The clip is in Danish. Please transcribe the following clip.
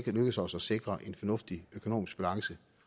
lykkedes os at sikre en fornuftigt økonomisk balance